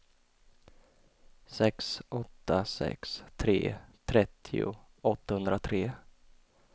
sex åtta sex tre trettio åttahundratre